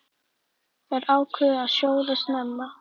Þær ákváðu að sjóða snemma.